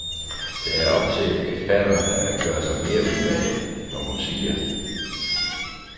Det er op til eksperterne at gøre sig mere umage, når hun siger.